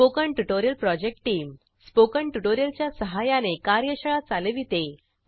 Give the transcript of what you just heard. spoken tutorial project team spoken tutorial च्या सहाय्याने कार्यशाळा चालविते